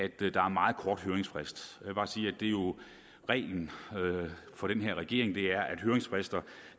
der er meget kort høringsfrist reglen for den her regering er jo at høringsfrister